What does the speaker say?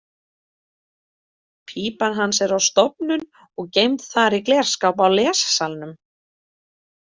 Pípan hans er á stofnun og geymd þar í glerskáp á lessalnum.